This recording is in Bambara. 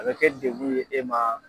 A bɛ kɛ degun ye e ma